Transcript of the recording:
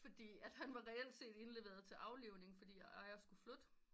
Fordi at han var reelt set var indleveret til aflivning fordi at ejer skulle flytte